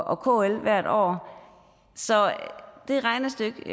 og kl hvert år så det regnestykke